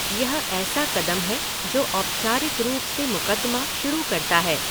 यह ऐसा कदम है जो औपचारिक रूप से मुक़दमा शुरू करता है।